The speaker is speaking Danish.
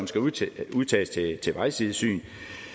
skal udtages til vejsidesyn